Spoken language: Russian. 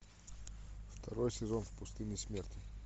второй сезон в пустыне смерти